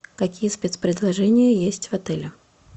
какие спец предложения есть в отеле